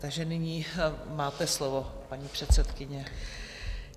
Takže nyní máte slovo, paní předsedkyně.